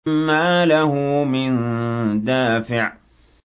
مَّا لَهُ مِن دَافِعٍ